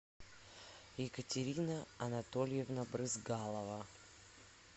екатерина анатольевна брызгалова